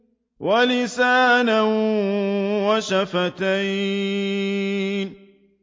وَلِسَانًا وَشَفَتَيْنِ